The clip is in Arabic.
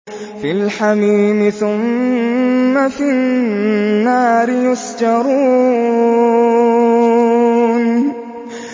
فِي الْحَمِيمِ ثُمَّ فِي النَّارِ يُسْجَرُونَ